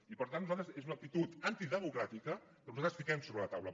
i per tant és una actitud antidemocràtica que nosaltres posem sobre la taula